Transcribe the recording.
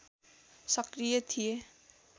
सक्रिय थिए